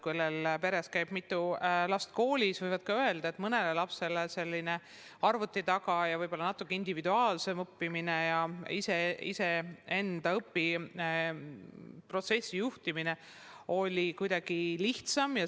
Kui peres käis mitu last koolis, siis võis öelda, et mõnele lapsele selline arvuti taga ja võib-olla natuke individuaalsem õppimine, iseenda õpiprotsessi juhtimine oli kuidagi lihtsam kui teisele.